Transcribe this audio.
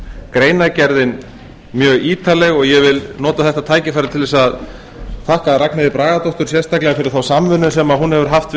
greinargerðin mjög ítarleg og ég vil nota þetta tækifæri til að þakka ragnheiði bragadóttur sérstaklega fyrir þá samvinnu sem hún hefur haft við